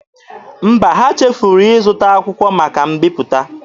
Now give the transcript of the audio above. Mba, ha chefuru ịzụta akwụkwọ maka mbiputa.